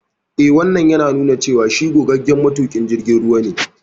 Eh, Wannan yana nuna cewa shi gogaggen matuƙin jirgin ruwa ne.